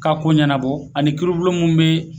K'a ko ɲɛnabɔ ani kiiribulon min bɛ